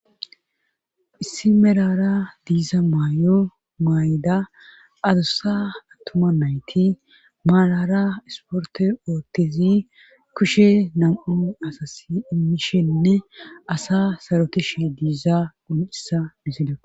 Issi merara diiza may,o maay,da adossa attoma nayti maalara esporte oottezi kushe nam,a asasi immishenne asa sarokishe diiza un,issa misida.